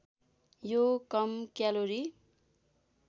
यो कम क्यालोरी